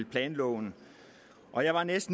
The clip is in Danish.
planloven og jeg var